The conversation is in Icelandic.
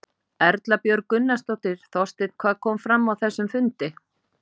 Erla Björg Gunnarsdóttir: Þorsteinn hvað kom fram á þessum fundi?